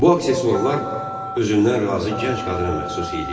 Bu aksesuarlar özündən razı gənc qadına məxsus idi.